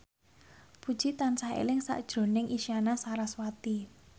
Puji tansah eling sakjroning Isyana Sarasvati